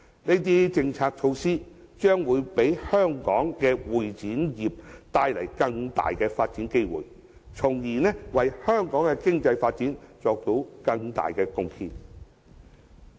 這些政策措施將會給香港的會展業帶來更大的發展機會，為香港的經濟發展作出更大貢獻。